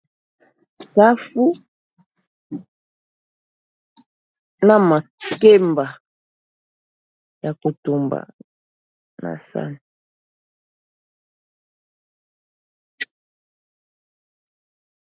Safu na makemba ya kotumba na sani.